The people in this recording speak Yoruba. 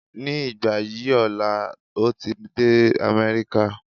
Ní ìgbà yí ọ̀la ń o ti dé Amẹ́ríkà